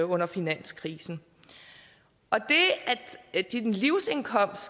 under finanskrisen og det at din livsindkomst